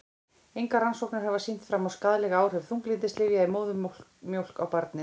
Engar rannsóknir hafa sýnt fram á skaðleg áhrif þunglyndislyfja í móðurmjólk á barnið.